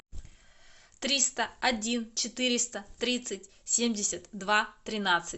триста один четыреста тридцать семьдесят два тринадцать